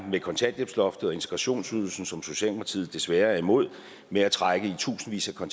med kontanthjælpsloftet og integrationsydelsen som socialdemokratiet desværre er imod med at trække i tusindvis af